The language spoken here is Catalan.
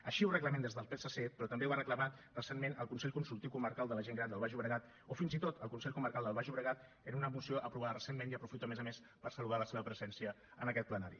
així ho reclamem des del psc però també ho ha reclamat recentment el consell consultiu comarcal de la gent gran del baix llobregat o fins i tot el consell comarcal del baix llobregat en una moció aprovada recentment i aprofito a més a més per saludar la seva presència en aquest plenari